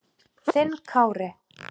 Þinn Kári.